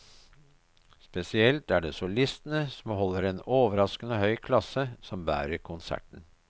Spesielt er det solistene, som holder en overraskende høy klasse, som bærer konserten.